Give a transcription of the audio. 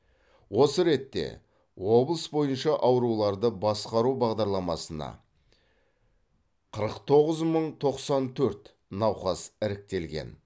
осы ретте облыс бойынша ауруларды басқару бағдарламасына қырық тоғыз мың тоқсан төрт науқас іріктелген